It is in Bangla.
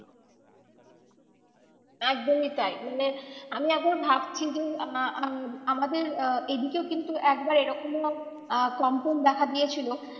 একদমই তাই মানে আমি আবার ভাবছি আহ আহ আমাদের আহ এদিকেও কিন্তু একবার এরকমও আহ কম্পন দেখা দিয়েছিলো।